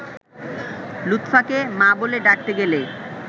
লুৎফাকে ‘মা’ বলে ডাকতে গেলে